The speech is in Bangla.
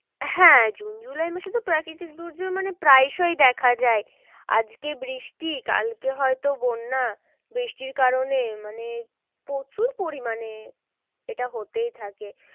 হ্যাঁ জুন জুলাই মাসে তো প্রাকৃতিক দুর্যোগ মানে প্রায় সই দেখা যায়। আজকে বৃষ্টি কালকে হয় তো বন্যা বৃষ্টির কারণে মানে প্রচুর পরিমানে এটা হতেই থাকে।